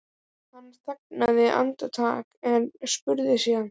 Hann þagnaði andartak en spurði síðan